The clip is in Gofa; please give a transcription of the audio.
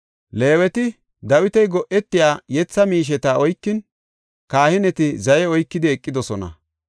Leeweti Dawiti go7etiya yetha miisheta oykin, kahineti zaye oykidi eqidosona.